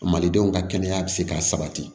Malidenw ka kɛnɛya bɛ se ka sabati